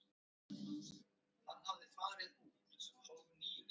Ég plataði Áslaugu til að koma heim með mér eftir skóla.